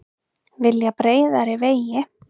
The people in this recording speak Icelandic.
Vilja breiðari vegi